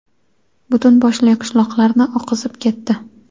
butun boshli qishloqlarni oqizib ketdi.